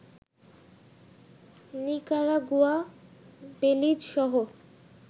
Nicaragua, Belize সহ